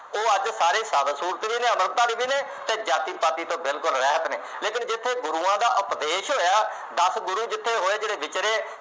ਉਹ ਅੱਜ ਉਹ ਸਾਰੇ ਸਾਬਤ ਸੂਰਤ ਵੀ ਨੇ, ਅੰਮ੍ਰਿਤਧਾਰੀ ਵੀ ਨੇ ਅਤੇ ਜਾਤੀ ਪਾਤੀ ਤੋਂ ਬਿਲਕੁੱਲ ਰਹਿਤ ਨੇ, ਲੇਕਿਨ ਜਿੱਥੇ ਗੁਰੂਆਂ ਦਾ ਉਪਦੇਸ਼ ਹੋਇਆ, ਦਸ ਗੁਰੂ ਜਿੱਥੇ ਹੋਏ, ਜਿਹੜੇ ਵਿਚਰੇ,